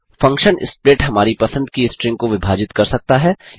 function split हमारी पसंद की स्ट्रिंग को विभाजित कर सकता है